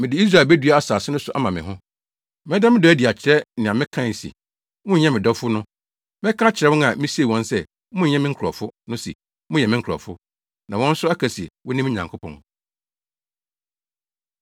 Mede Israel bedua asase no so ama me ho; mɛda me dɔ adi akyerɛ nea mekae se, ‘wonyɛ me dɔfo’ no. Mɛka akyerɛ wɔn a misee wɔn sɛ ‘monyɛ me nkurɔfo’ no se ‘moyɛ me nkurɔfo,’ na wɔn nso aka se, ‘Wone me Nyankopɔn.’”